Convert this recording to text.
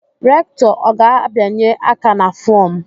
Rektọ ọ ga-abianye aka na fọọm?